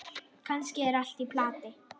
Kannski er allt í plati.